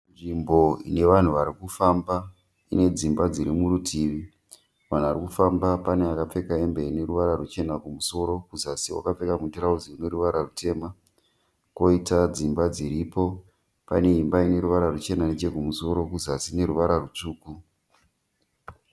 Nzvimbo inevanhu varikufamba ine dzimba dziri murutivi. Vanhu varikufamba pane akapfeka hembe ineruvara ruchena kumusoro kuzasi akapfeka mutirauzi rine ruvara rutema. Poita dzimba dziripo pane imba ine ruvara rwuchena nechekumusoro kuzasi ine ruvara rutsvuku.